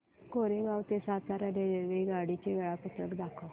कोरेगाव ते सातारा रेल्वेगाडी चे वेळापत्रक दाखव